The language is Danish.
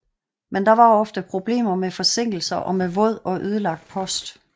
Men der var ofte problemer med forsinkelser og med våd og ødelagt post